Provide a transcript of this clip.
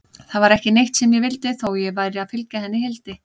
Það var ekki neitt sem ég vildi, þó ég væri að fylgja henni Hildi.